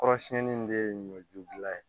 Kɔrɔsiyɛnni in de ye ɲɔjubila ye